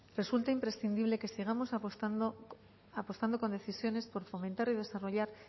resulta imprescindible que sigamos apostando con decisiones por fomentar y desarrollar